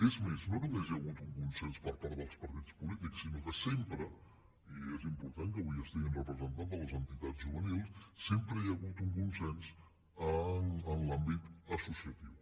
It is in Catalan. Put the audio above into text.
és més no només hi ha hagut un consens per part dels partits polítics sinó que sempre i és important que avui hi hagi representants de les entitats juvenils sempre hi ha hagut un consens en l’àmbit associatiu